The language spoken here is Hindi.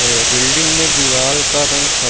ये बिल्डिंग में दीवाल का रंग स --